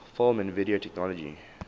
film and video technology